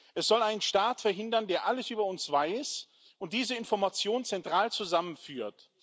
Es soll einen Staat verhindern, der alles über uns weiß und diese Informationen zentral zusammenführt.